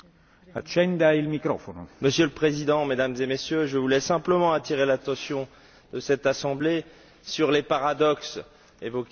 Monsieur le Président, Mesdames et Messieurs, je voulais simplement attirer l'attention de cette Assemblée sur les paradoxes évoqués par Mme Gomes et M.